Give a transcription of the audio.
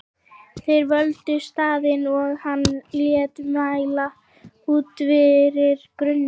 Þeir völdu staðinn og hann lét mæla út fyrir grunni.